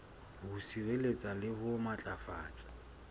ho sireletsa le ho matlafatsa